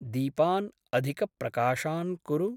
दीपान् अधिकप्रकाशान् कुरु।